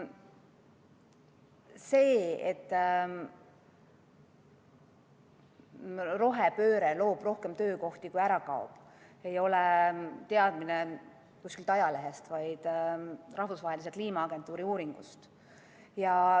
See, et rohepööre loob rohkem töökohti, kui ära kaob, ei ole teadmine kuskilt ajalehest, vaid rahvusvahelise kliimaagentuuri uuringust.